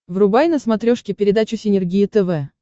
врубай на смотрешке передачу синергия тв